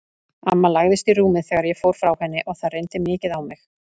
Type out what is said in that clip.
Amma lagðist í rúmið þegar ég fór frá henni og það reyndi mikið á mig.